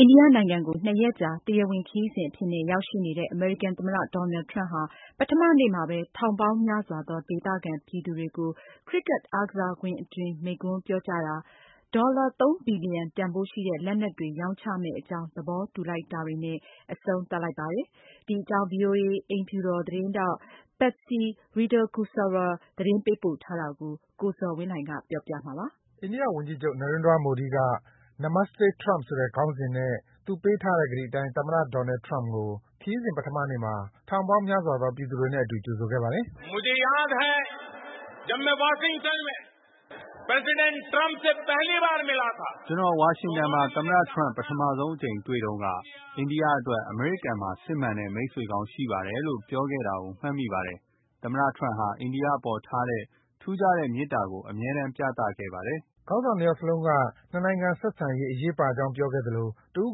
အိန္ဒိယနိုင်ငံကို ၂ ရက်ကြာ တရားဝင်ခရီးစဉ်အဖြစ်နဲ့ ရောက်ရှိနေတဲ့ အမေရိကန်သမ္မတ Donald Trump ဟာ ပထမနေ့မှာဘဲ ထောင်ပေါင်းများစွာသော ဒေသခံပြည်သူတွေကို Cricket အားကစားကွင်းအတွင်း မိန့်ခွန်းပြောကြားတာ၊ ဒေါ်လာ ၃ ဘီလီယံတန်ဖိုးရှိတဲ့ လက်နက်တွေ ရောင်းချမယ့်အကြောင်း သဘောတူလိုက်တာတွေနဲ့ အဆုံးသတ်လိုက်ပါပြီ။ ဒီအကြောင်း ဗွီအိုအေ အိမ်ဖြူတော် သတင်းထောက် Patsy Widakuswara သတင်းပေးပို့ထားတာကို ကိုဇော်ဝင်းလှိုင်က တင်ပြပေးပါမယ်။ အိန္ဒိယဝန်ကြီးချုပ် Narendra Modi က Namaste Trump ဆိုတဲ့ ခေါင်းစဉ်နဲ့ ပေးထားတဲ့ ကတိအတိုင်း သမ္မတ Donald Trump ကို ခရီးစဉ် ပထမနေ့မှာ ထောင်ပေါင်းများစွာသော ပြည်သူတွေနဲ့အတူ ကြိုဆိုခဲ့ပါတယ်။ “ကျနော် ဝါရှင်တန်မှာ သမ္မတ Trump ပထမဆုံးအကြိမ်တွေ့တုန်းက အိန္ဒိယအတွက် အမေရိကန်မှာ စစ်မှန်တဲ့ မိတ်ဆွေကောင်းရှိပါတယ်လို့ ပြောခဲ့တာကို မှတ်မိပါတယ်။ သမ္မတ Trump ဟာ အိန္ဒိယအပေါ်ထားတဲ့ ထူးခြားတဲ့ မေတ္တာကို အမြဲတမ်း ပြသခဲ့ပါတယ်။” ခေါင်းဆောင် ၂ ယောက်စလုံးက နှစ်နိုင်ငံဆက်ဆံရေး အရေးပါကြောင်း ပြောခဲ့သလို တဦး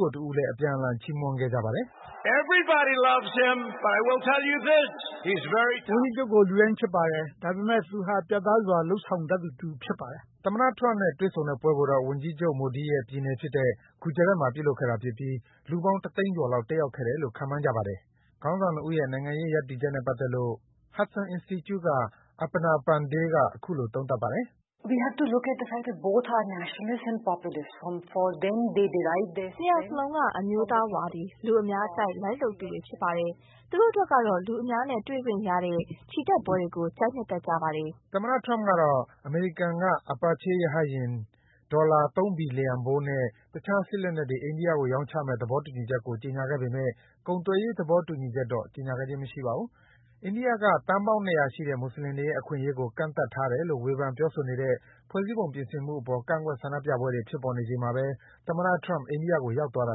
ကိုတဦးလည်း အပြန်အလှန် ချီးမွမ်းခဲ့ကြပါတယ်။ “ဝန်ကြီးချုပ်ကို လူတိုင်း ချစ်ပါတယ်။ ဒါပေမယ့် သူဟာ ပြတ်သားစွာ လုပ်ဆောင်တတ်သူ ဖြစ်ပါတယ်။” သမ္မတ Trump နဲ့ တွေ့ဆုံတဲ့ပွဲကိုတော့ ဝန်ကြီးချုပ် Modi ရဲ့ပြည်နယ်ဖြစ်တဲ့ Gujarat မှာ ပြုလုပ်ခဲ့တာဖြစ်ပြီး လူပေါင်း တသိန်းကျော်လောက် တက်ရောက်ခဲ့တယ်လို့ ခန့်မှန်းကြပါတယ်။ ခေါင်းဆောင် ၂ ဦးရဲ့ နိုင်ငံရေးရပ်တည်ချက်နဲ့ပတ်သက်လို့ Hudson Institute က Aparna Pande က အခုလို သုံးသပ်ပါတယ်။ “နှစ်ယောက်စလုံးက အမျိုးသားဝါဒီ၊ လူအများကြိုက် လိုက်လုပ်သူတွေဖြစ်ပါတယ်။ သူတို့အတွက်ကတော့ လူအများနဲ့ တွေ့ခွင့်ရတဲ့ ချီတက်ပွဲတွေကို ကြိုက်နှစ်သက်ကြပါတယ်။” အိန္ဒိယက သန်းပေါင်း ၂၀၀ ရှိတဲ့ မွတ်ဆလင်တွေရဲ့ အခွင့်အရေးကို ကန့်သတ်တယ်လို့ ဝေဖန် ပြောဆိုနေတဲ့ ဖွဲ့စည်းပုံ ပြင်ဆင်မှုအပေါ် ကန့်ကွက် ဆန္ဒပြပွဲတွေ ဖြစ်ပေါ်နေချိန် သမ္မတ Trump အိန္ဒိယကို ရောက်သွားတာ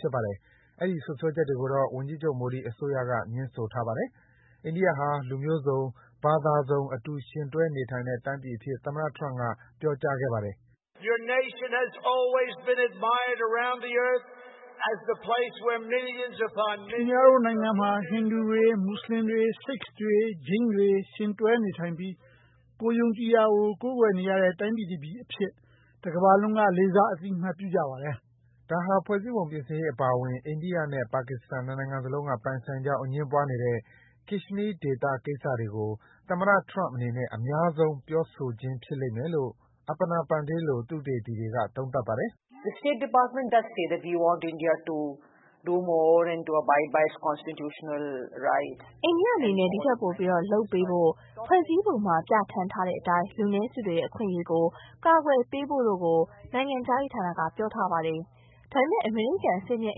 ဖြစ်ပါတယ်။ အဲဒီ စွပ်စွဲချက်တွေကိုတော့ ဝန်ကြီးချုပ် Modi အစိုးရက ငြင်းထားပါတယ်။ အိန္ဒိယဟာ လူမျိုးစုံ၊ ဘာသာစုံ အတူယှဉ်တွဲနေထိုင်တဲ့ တိုင်းပြည်အဖြစ် သမ္မတ Trump က ပြောကြားခဲ့ပါတယ်။ “ခင်ဗျားတို့နိုင်ငံမှာ ဟိန္ဓူတွေ၊ မွတ်ဆလင်တွေ၊ Sikhs တွေ၊ ဂျိန်းတွေ ယှဉ်တွဲနေထိုင်ပြီး ကိုယ်ယုံကြည်ရာကို ကိုးကွယ်နေကြတဲ့ တိုင်းပြည်အဖြစ် တကမ္ဘာလုံးက လေးစား အသိအမှတ်ပြုကြပါတယ်။” ဒါဟာ ဖွဲ့စည်းပုံပြုပြင်ရေးအပါအဝင် အိန္ဒိယနဲ့ ပါကစ္စတန် ၂ နိုင်ငံစလုံးက ပိုင်ဆိုင်ကြောင်း အငြင်းပွားနေတဲ့ Kashmir ဒေသကိစ္စတွေကို သမ္မတ Trump အနေနဲ့ အများဆုံး ပြောဆိုခြင်းဖြစ်လိမ့်မယ်လို့ Aparna Pande လို သုတေသီတွေက သုံးသပ်ပါတယ်။ “အိန္ဒိယအနေနဲ့ ဒီထက်ပိုပြီး လုပ်ပေးဖို့၊ ဖွဲ့စည်းပုံမှာပြဌာန်းထားတဲ့အတိုင်း လူနည်းစုတွေရဲ့ အခွင့်အရေးကို ကာကွယ်ပေးဖို့တို့ကို နိုင်ငံခြားရေးဌာနက ပြောထားပါတယ်။ ဒါပေမယ့် အမေရိကန် အဆင့်မြင့်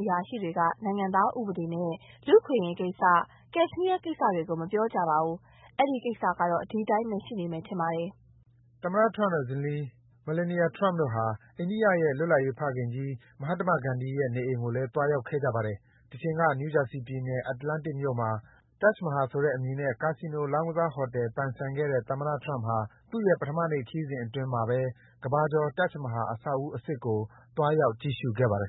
အရာရှိတွေက နိုင်ငံသားဥပဒေနဲ့ လူ့အခွင့်အရေးကိစ္စ၊ Kashmir ကိစ္စတွေကို မပြောကြပါဘူး။ အဲဒီကိစ္စကတော့ ဒီအတိုင်းဘဲ ရှိနေမယ်ထင်ပါတယ်။” သမ္မတ Trump နဲ့ ဇနီး Melania Trump တို့ဟာ အိန္ဒိယရဲ့ လွှတ်လပ်ရေးဖခင်ကြီး Mahatma Gandhi ရဲ့အိမ်ကိုလည်း သွားခဲ့ကြပါတယ်။ တချိန်က New Jersey ပြည်နယ်၊ Atlantic မြို့မှာ Taj Mahal ဆိုတဲ့အမည်နဲ့ ကာဆီနို လောင်းကစားဟိုတယ် ပိုင်ဆိုင်ခဲ့တဲ့ သမ္မတ Trump ဟာ သူ့ရဲ့ ပထမနေ့ ခရီးစဉ်အတွင်း အိန္ဒိယက ကမ္ဘာကျော် Taj Mahal အဆောက်အဦးအစစ်ကို သွားရောက် ကြည့်ရှုခဲ့ပါတယ်